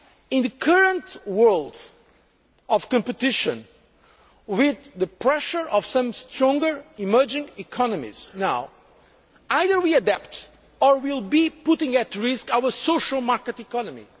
In the current world of competition, with the pressure of some stronger emerging economies now, either we adapt or we will be putting at risk our social market economy.